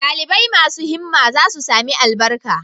Dalibai masu himma za su sami albarka